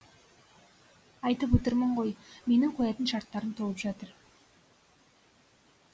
айтып отырмын ғой менің қоятын шарттарым толып жатыр